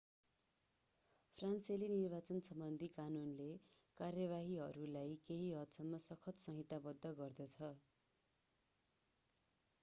फ्रान्सेली निर्वाचनसम्बन्धी कानूनले कार्यवाहीहरूलाई केही हदसम्म सख्त संहिताबद्ध गर्दछ